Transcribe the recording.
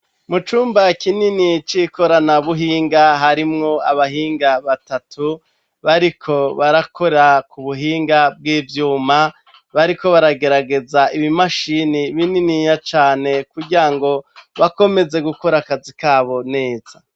Mu cumba kinini c'ikoranabuhinga harimwo abahinga batatu, bariko barakora ku buhinga bw'ivyuma, bariko baragerageza ibimashini bininiya cane kugira ngo, bakomeze gukora akazi kabo neza.